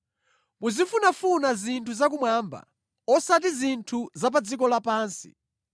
Muzifunafuna zinthu za kumwamba, osati zinthu za pa dziko lapansi.